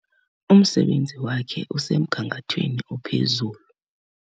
Umsebenzi wakhe usemgangathweni ophezulu.